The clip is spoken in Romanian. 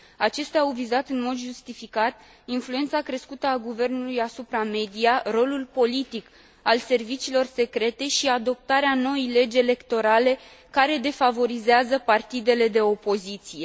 Acestea au vizat în mod justificat influența crescută a guvernului asupra media, rolul politic al serviciilor secrete și adoptarea noii legi electorale, care defavorizează partidele de opoziție.